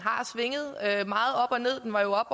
her